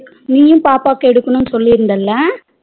நீயும் பாப்பாக்கு எடுக்கணும்னு சொல்லிருந்தலா